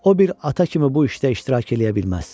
o bir ata kimi bu işdə iştirak eləyə bilməz.